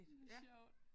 Det sjovt